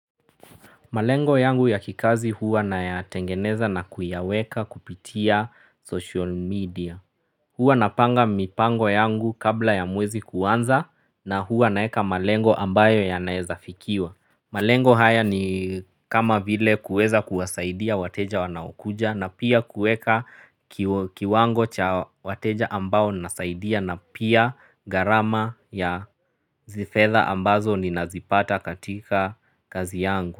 Malengo yangu ya kikazi huwa naya tengeneza na kuyaweka kupitia social media. Huwa napanga mipango yangu kabla ya mwezi kuanza na huwa naeka malengo ambayo yanaezafikiwa. Malengo haya ni kama vile kuweza kuwasaidia wateja wanaokuja na pia kuweka kiwango cha wateja ambao nasaidia na pia gharama ya fedha ambazo ninazipata katika kazi yangu.